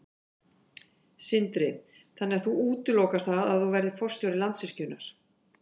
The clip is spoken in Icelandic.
Sindri: Þannig að þú útilokar það að þú verðir forstjóri Landsvirkjunar?